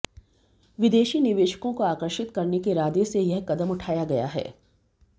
विदेशी निवेशकों को आकर्षित करने के इरादे से यह कदम उठाया गया है